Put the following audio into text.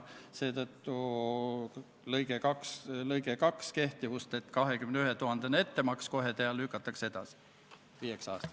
Me toetame seal prantslasi ehk Prantsuse riiki, kes seda operatsiooni juhib.